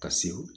Ka se